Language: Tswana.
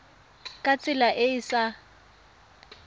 ka tsela e e sa